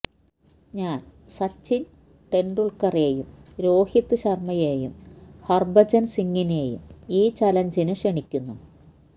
ഞാൻ സച്ചിൻ തെണ്ടുൽക്കറേയും രോഹിത് ശർമയേയും ഹർഭജൻ സിങ്ങിനേയും ഈ ചലഞ്ചിന് ക്ഷണിക്കുന്നു